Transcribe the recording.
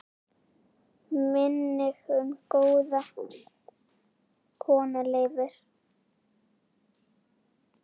Minning um góða kona lifir.